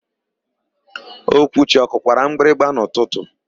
Okwuchi ọ kụkwara mgbịrịgba n'ụtụtụ?